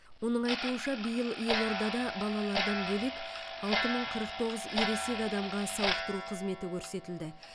оның айтуынша биыл елордада балалардан бөлек алты мың қырық тоғыз ересек адамға сауықтыру қызметі көрсетілді